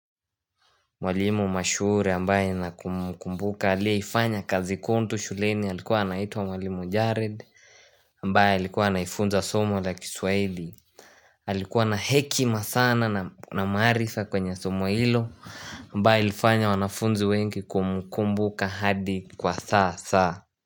Mwalimu mashuhuri ambaye na kumkumbuka aliyeifanya kazi kuntu shuleni alikuwa anaitwa mwalimu Jared ambaye alikuwa anaifunza somo la kiswaili Alikuwa na hekima sana na maarifa kwenye somo ilo ambaye ilifanya wanafunzi wengi kumkumbuka hadi kwa sasa.